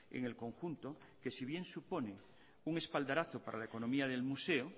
en el conjunto que si bien suponen un espaldarazo para la economía del museo